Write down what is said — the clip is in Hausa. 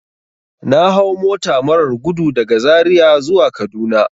Na hau mota marar gudu daga zaria zuwa kaduna.